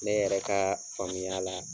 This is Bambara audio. Ne yɛrɛ ka faamuya la.